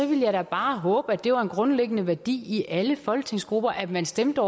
ville jeg da bare håbe at det var en grundlæggende værdi i alle folketingsgrupper at man stemte